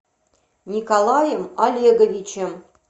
николаем олеговичем